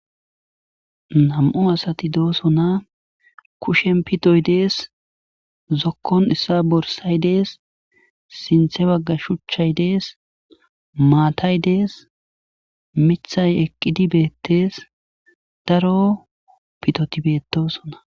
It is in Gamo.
2 asati de'osona kushen pitoy des zokon issas borsay des sintha bagan shuchay des mattay des mithay eqidi betes daro pitoti betosona